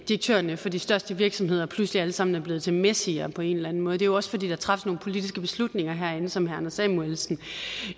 direktørerne for de største virksomheder pludselig alle sammen er blevet til messier på en eller en måde det er også fordi der træffes nogle politiske beslutninger herinde som herre anders samuelsen